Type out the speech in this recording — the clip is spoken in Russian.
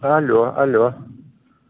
алло алло